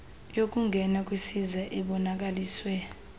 yokungena kwisiza ebonakaliswe